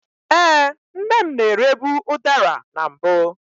Ee, nne m na-erebu udara na mbụ.